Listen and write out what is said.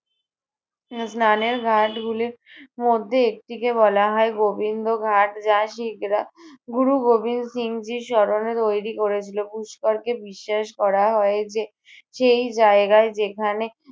উহ স্নানের ঘাটগুলির মধ্যে একটিকে বলা হয় গোবিন্দ ঘাট যা শিখরা গুরু গোবিন্দ সিংজির স্মরণে তৈরী করেছিল। পুষ্করকে বিশ্বাস করা হয় যে সেই জায়গায় যেখানে